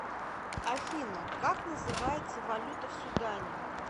афина как называется валюта в судане